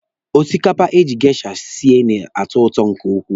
Osikapa eji geisha sie na-atọ ụtọ nke ukwuu.